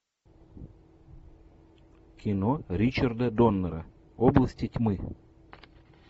кино ричарда доннера области тьмы